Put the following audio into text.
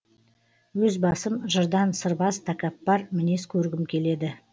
өз басым жырдан сырбаз такаппар мінез көргім келеді